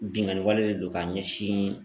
Binnkanni wale de don ka ɲɛsin